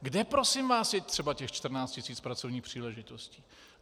Kde, prosím vás, je třeba těch 14 tisíc pracovních příležitostí?